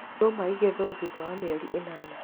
Ndũma igethagwo thutha wa mweri ĩnana.